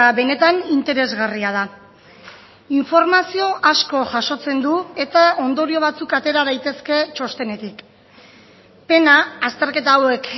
benetan interesgarria da informazio asko jasotzen du eta ondorio batzuk atera daitezke txostenetik pena azterketa hauek